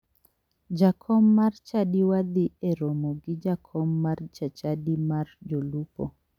Jakom mar chadiwa dhi e romo gi jakom mar chachadi mar jolupo.